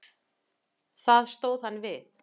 Það stóð hann við.